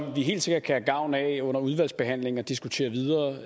vi helt sikkert kan have gavn af under udvalgsbehandlingen at diskutere videre